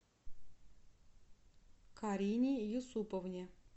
карине юсуповне